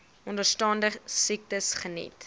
onderstaande siektes geniet